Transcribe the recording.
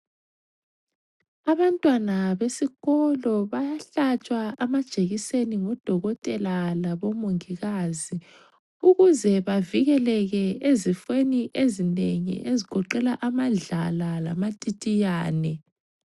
Abantwana besikolo bayahlatshwa amajekiseni ngudokotela labomongikazi ukuze bavikeleke ezifweni ezinengi ezigoqela amadlala lamatitiyane.